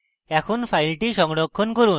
এখন file সংরক্ষণ করুন